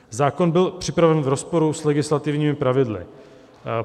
"Zákon byl připraven v rozporu s legislativními pravidly.